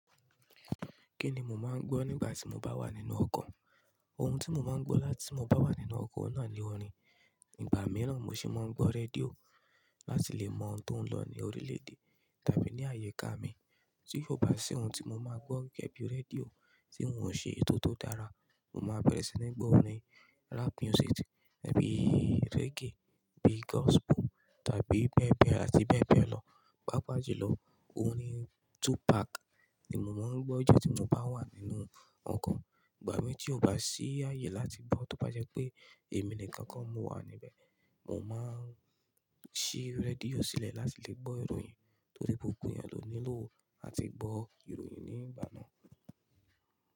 Kí ni mo máa ń gbọ́, nígbà tí mo bá wà nínú ọkọ̀? Ohun tí mo máa ń gbọ́ láti mo bá wà nínú ọkọ̀ náà ni orin. Ìgbà mìíràn, mo sì máa ń gbọ́ rédíò láti lè mọ ohun tó ń lọ ní orílẹ̀-èdè tàbí ní àyíká mi. Tí kò bá sí ohun tí mo máa gbọ́ gẹ́gẹ́ bí rédíò, tí n ò ṣe ètò tera, mo máa bẹ̀rẹ̀ sí ní gbọ́ orin, rap music ẹbí reggae, bí gospel tàbí bẹ́ẹ̀bẹ́ẹ̀ àti bẹ́ẹ̀bẹ́ẹ̀ lọ. Pápá jù lọ, orin Tupac ni mo máa ń gbọ́ ju tí mo bá wà nínú ọkọ̀. Ìgbà mì tí ó bá sí ààyè láti gbọ́, tó bá jẹ́ pé èmi nìkan kó mo wà níbẹ̀, mo máa ń ṣí rédíò sílẹ̀ láti lè gbọ́ ìròyìn torí gbogbo ẹ̀yàn ló nílò àti gbọ́ ìròyìn ní ìgbà náà.